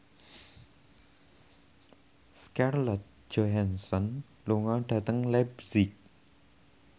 Scarlett Johansson lunga dhateng leipzig